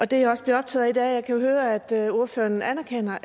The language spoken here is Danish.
det jeg også blev optaget af i jeg kan høre at ordføreren anerkender